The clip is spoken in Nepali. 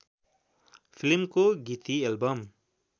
फिल्मको गीति एल्बम